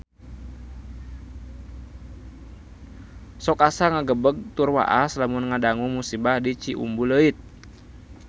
Sok asa ngagebeg tur waas lamun ngadangu musibah di Ciumbuleuit